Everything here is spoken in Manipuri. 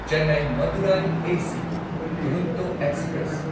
Chennai Madurai AC Duronto express